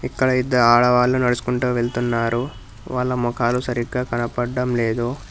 ఇక్కడ ఇద్దరు ఆడవాళ్లు నడుచుకుంట వెళ్తున్నారు వాళ్ళ మొఖాలు సరిగ్గా కనపడ్డం లేదు.